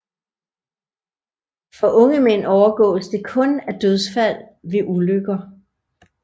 For unge mænd overgås det kun af dødsfald ved ulykker